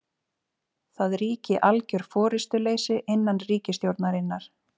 Það ríki algjör forystuleysi innan ríkisstjórnarinnar